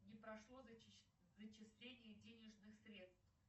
не прошло зачисление денежных средств